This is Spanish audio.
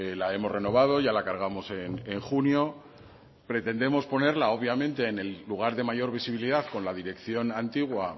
la hemos renovado ya la cargamos en junio pretendemos ponerla obviamente en el lugar de mayor visibilidad con la dirección antigua